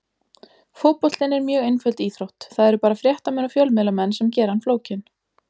Fótboltinn er mjög einföld íþrótt, það eru bara fréttamenn og fjölmiðlamenn sem gera hann flókinn.